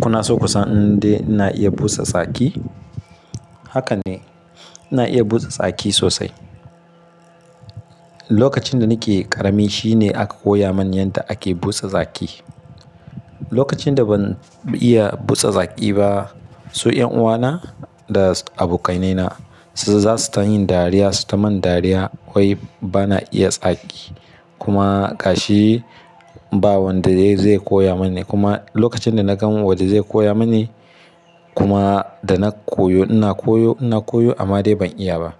Kuna so ku san indai ina iya busa tsaki? Haka ne, ina iya busa tsaki sosai. Lokacin da nake ƙarami shine aka koya mani yadda ake busa tsaki. Lokacin da ban iya busa tsaki ba, su 'yan uwana da abokainaina su za su ta yin dariya, su ta mun dariya wai bana iya tsaki. Kuma gashi ba wanda zai koya mani kuma lokacin da na gan wanda zai koya mani kuma da na koyo, ina koyo, ina koyo amma dai ban iya ba.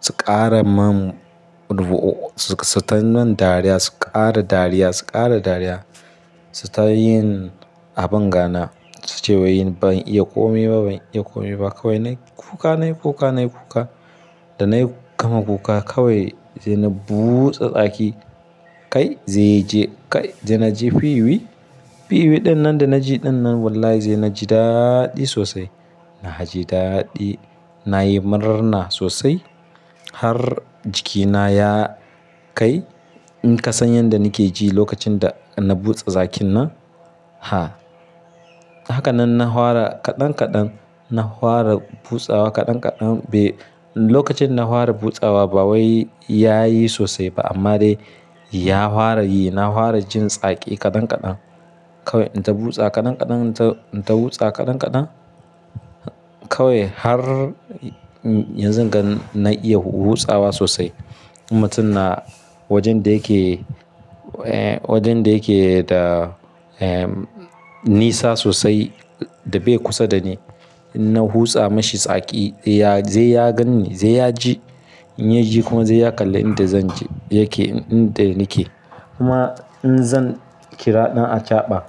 Su ƙara mun rubu'o, su ta mun dariya, su ƙara dariya, su ƙara dariya, su ta yin abin gana. Su ce wai yin ban iya ƙome ba, ban iya ƙome ba kawai na yi kuka, na yi kuka, na yi kuka. Da na yi gama kuka kawai zai na busa tsaki kai zai je kai, zai na je fiwi. Fiwi dinnan da na ji dinnan wallahi zai na ji daɗi sosai. Na ji daɗi, na yi murna na sosai har jikina ya kai. In ka san yadda nake ji lokacin da na busa tsakin nan, ha. Haka nan na ware ƙadan ƙadan, na ware busawa ƙadan ƙadan. Be, lokacin na ware busawa ba wai ya yi sosai ba amma dai ya ware yi. Na ware jin tsaki ƙadan ƙadan. Kawai in ta busa ƙadan ƙadan, in ta busa ƙadan ƙadan kawai har yanzu ga na iya busawa sosai. Mutum na wajen da yake, eh wajen da yake da, eh nisa sosai da bai kusa da ni, in na busa mashi tsaki ya, zai ya gan ni, zai ya ji. In ya ji kuma zai ya kalla inda zan je yake, inda nake. Kuma in zan kira ɗan acaɓa,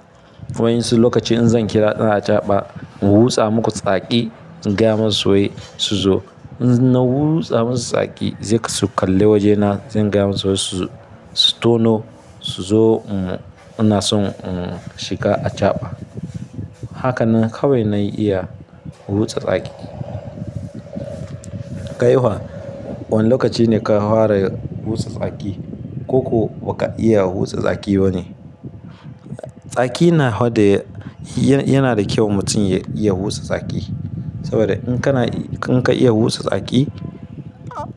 wai su lokacin in zan kira ɗan acaɓa in busa muku tsaki, in gaya masu wai su zo. In na busa masu tsaki zai su kalle wajena, zai gaya masu wai su, su tono su zo mu, mu nasu, shiga acaɓa. Haka nan kawai na yi iya busa tsaki. Kai fa, wa wane lokaci ne ka ware busa tsaki ko kuwa ba ka iya busa tsaki ba ne? Tsaki na haɗiye, yana da kyau mutum ya iya busa tsaki. Saboda in kana, in ka iya busa tsaki,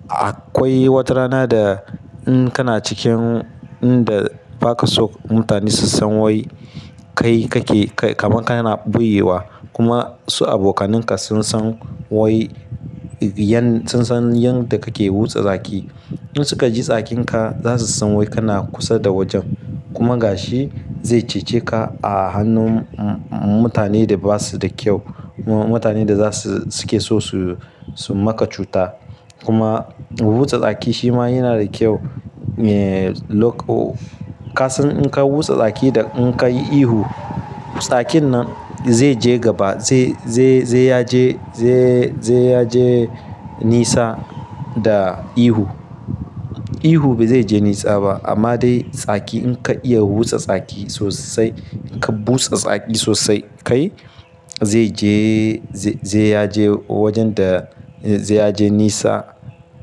akwai wata rana da in kana cikin inda ba ka so mutane su san wai kai kake, kaman kana ɓoyewa kuma su abokananka sun san wai yan, sun san yadda kake busa tsaki. In suka ji tsakin ka za su san wai kana kusa da wajen. Kuma gashi zai cece ka a hannun mutane da ba su da kyau kuma mutane da za su, suke so su, su maka cuta. Kuma busa tsaki shi ma yana da kyau. Eh lo-- ka san in ka busa tsaki da in ka yi ihu, tsakin nan zai je gaba, zai, zai, zai ya je, zai, zai ya je nisa da ihu. Ihu bai zai je nisa ba amma dai tsaki in ka iya busa tsaki sosai, in ka busa tsaki sosai kai zai je, zai ya je wajen da, zai ya je nisa,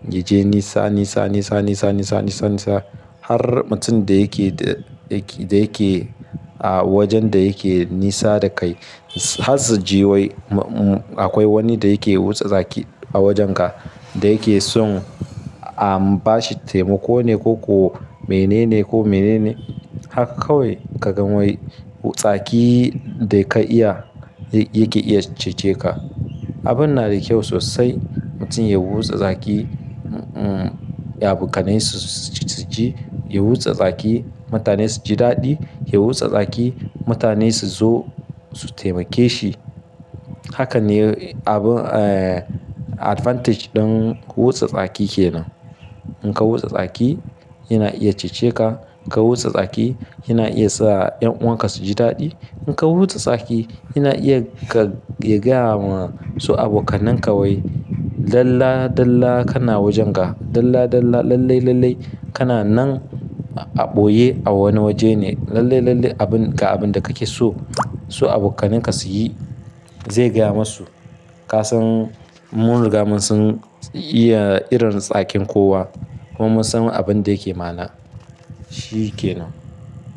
ya je nisa, nisa, nisa, nisa, nisa, nisa, nisa har mutum da yake, da yake, da yake a wajen da yake nisa da kai har su ji wai akwai wani da yake busa tsaki a wajen ka da yake son a ba shi taimako ne ko kuwa menene ko menene. Haka kawai ka gan wai tsaki da ka iya yake iya cece ka. Abin na da kyau sosai mutum ya busa tsaki, abokanai su ji, ya busa tsaki mutane su ji daɗi, ya busa tsaki mutane su zo su taimake shi. Haka ne abin, eh advantage ɗin busa tsaki ke nan. In ka busa tsaki yana iya cece ka. In ka busa tsaki yana iya sa 'yan uwan ka su ji daɗi. In ka busa tsaki yana iya ka gaya ma su abokananka wai dala dala kana wajen ga, dala dala lallai lallai kana nan a ɓoye a wani waje ne. Lallai lallai abun ga abun da kake so su abokananka su yi zai gaya masu. Ka san mun riga mun san iya irin tsakin kowa kuma mun san abin da yake ma'ana, shi yake nan.